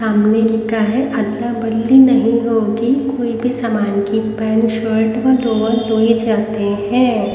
सामने लिखा है अदला बदली नहीं होगी कोई भी सामान की पैंट शर्ट व लोवर टोये चाते है।